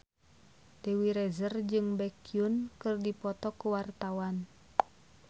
Dewi Rezer jeung Baekhyun keur dipoto ku wartawan